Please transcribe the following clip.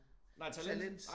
Nej talent